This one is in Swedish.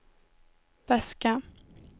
väska